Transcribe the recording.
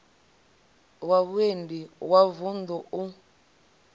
wa vhuendi wa vuṋdu u